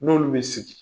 N'olu bɛ sigi